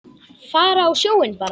Fara á sjóinn bara.